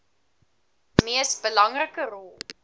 mees belangrike rol